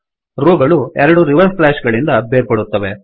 rho ಗಳು ಎರಡು reverse slash ಗಳಿಂದ ಬೇರ್ಪಡುತ್ತವೆ